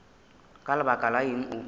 ka lebaka la eng o